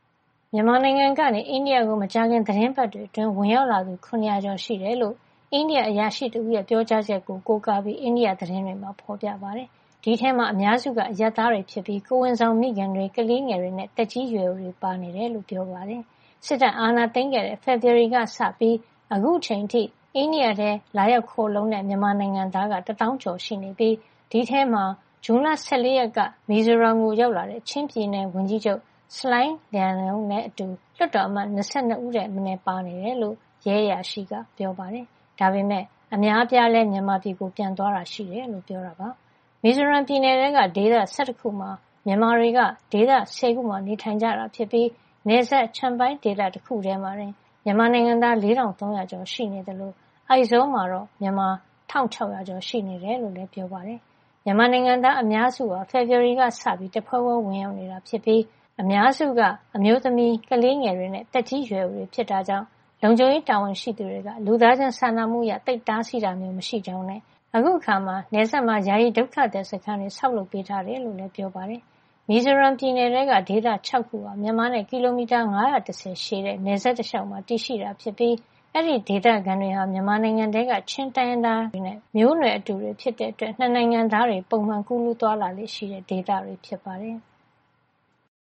မြန်မာနိုင်ငံကနေ အိန္ဒိယကို မကြာခင် သီတင်းပတ်တွေအတွင်း ဝင်ရောက်လာသူ ၇၀၀ ကျော် ရှိနေတယ်လို့ အိန္ဒိယအရာရှိတဦးရဲ့ ပြောကြားချက်ကို ကိုးကားပြီး အိန္ဒိယ သတင်းတွေမှာ ဖော်ပြထားပါတယ်။ အဲဒီထဲမှာ အများစုက အရပ်သားတွေဖြစ်ပြီး ကိုယ်ဝန်ဆောင်မိခင်တွေ၊ ကလေးငယ်တွေနဲ့ သက်ကြီးရွယ်အိုတွေပါ ပါနေတယ်လို့ ပြောပါတယ်။ စစ်တပ်အာဏာသိမ်းခဲ့တဲ့ ဖေဖော်ဝါရီကစပြီး အခုချိန်အထိ အိန္ဒိယနိုင်ငံထဲ လာရောက်ခိုလှုံတဲ့ မြန်မာနိုင်ငံသားက တသောင်းကျော်ရှိနေပြီး အဲဒီထဲမှာ ဇွန်လ ၁၄ ရက်နေ့က မီဇိုရမ်ကို ရောက်လာတဲ့ ချင်းပြည်နယ်ဝန်ကြီးချုပ် ဆလိုင်း Lian Luai နဲ့အတူ လွှတ်တော်အမတ် ၂၂ ဦးထက်မနည်း ပါနေတယ်လို့လည်း ရဲအရာရှိက ပြောပါတယ်။ ဒါပေမယ့် အများအပြား မြန်မာပြည်ပြန်သွားတာလည်း ရှိတယ်လို့ ပြောပါတယ်။ မီဇိုရမ်ပြည်နယ်ထဲက ဒေသ ၁၁ ခုမှာ မြန်မာတွေက ဒေသ ၁၀ ခုမှာ နေထိုင်နေကြတာဖြစ်ပြီး နယ်စပ် Champhai ဒေသတခုတည်းမှာတင် မြန်မာနိုင်ငံသား ၄,၃၀၀ ကျော်ရှိနေသလို အိုက်ဇောမှာတော့ မြန်မာ ၁,၆၀၀ ကျော် ရှိနေတယ်လို့လည်း ပြောပါတယ်။ မြန်မာနိုင်ငံသားတွေဟာ ဖေဖော်ဝါရီလက စပြီး တဖွဲဖွဲ ဝင်ရောက်နေတာဖြစ်ပြီး အများစုဟာ အမျိုးသမီးတွေ၊ ကလေးငယ်တွေနဲ့ သက်ကြီးရွယ်အိုတွေ ဖြစ်တာကြောင့် လုံခြုံရေး တာဝန်ရှိသူတွေက လူသားချင်းစာနာမှုအရ သိပ်တားဆီးတာမျိုး မရှိကြောင်းနဲ့ အခုအခါမှာ နယ်စပ်မှာ ယာယီဒုက္ခသည်စခန်းတွေ ဆောက်လုပ်ပေးထားတယ်လို့လည်း ပြောပါတယ်။ မီဇိုရမ်ပြည်နယ်ထဲက ဒေသ ၆ ခုဟာ မြန်မာနဲ့ ကီလိုမီတာ ၅၁၀ ရှည်တဲ့ နယ်စပ်တလျှောက်မှာ တည်ရှိတာဖြစ်ပြီး အဲဒီဒေသခံတွေဟာ မြန်မာနိုင်ငံထဲက ချင်းတိုင်းရင်းသားတွေနဲ့ အမျိုးနွယ်တူတွေ ဖြစ်တဲ့အတွက် ၂ နိုင်ငံသားတွေ ပုံမှန် ကူးလူးသွားလာလေ့ရှိတဲ့ ဒေသတွေ ဖြစ်ပါတယ်။